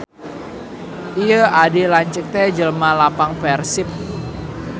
Ieu adi lanceuk teh jelema lapang Persib.